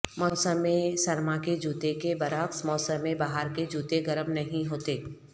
موسم سرما کے جوتے کے برعکس موسم بہار کے جوتے گرم نہیں ہوتے